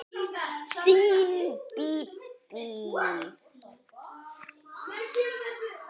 Þín Bíbí.